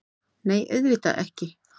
Nei, auðvitað ekki!